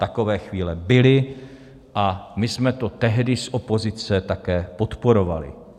Takové chvíle byly a my jsme to tehdy z opozice také podporovali.